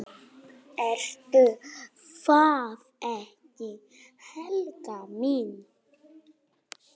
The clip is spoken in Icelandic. Ertu það ekki, Helga mín?